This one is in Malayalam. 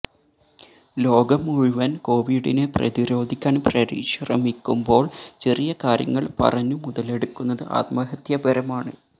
ലോകം മുഴുവൻ കോവിഡിനെ പ്രതിരോധിക്കാൻ പരിശ്രമിക്കുമ്പോൾ ചെറിയ കാര്യങ്ങൾ പറഞ്ഞു മുതലെടുക്കുന്നത് ആത്മഹത്യപരമാണ്